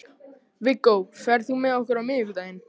Viggó, ferð þú með okkur á miðvikudaginn?